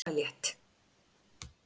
Vertu bara létt!